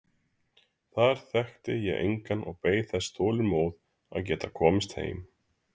Þar þekkti ég engan og beið þess þolinmóð að geta komist heim.